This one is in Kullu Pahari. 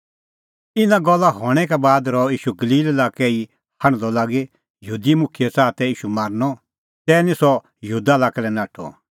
इना गल्ला हणैं का बाद रहअ ईशू गलील लाक्कै ई हांढदअ लागी यहूदी मुखियै च़ाहा तै ईशू मारनअ तै निं सह यहूदा लाक्कै लै नाठअ